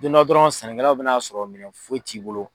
Don dɔ dɔrɔn sɛnɛkɛlaw bɛna n'a sɔrɔ minɛn foyi t'i bolo.